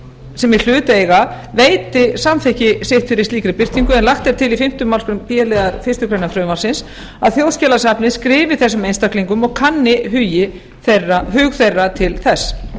sem í hlut eiga veiti samþykki sitt fyrir slíkri birtingu en lagt er til í fimmta málsgrein b liðar fyrstu grein frumvarpsins að þjóðskjalasafn skrifi þessum einstaklingum og kanni hug þeirra til þess